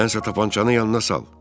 Sənsə tapançanı yanına sal.